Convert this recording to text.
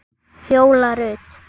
Fjóla Rut.